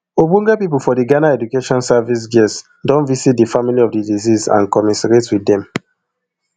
ogbonge pipo for di ghana education service ges don visit di family of di deceased and commiserate wit dem